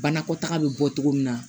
Banakɔtaga bɛ bɔ cogo min na